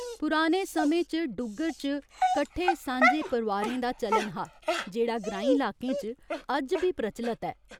पराने समें च डुग्गर च कट्ठे सांझे परोआरें दा चलन हा, जेह्ड़ा ग्रांईं लाकें च अज्ज बी प्रचलत ऐ।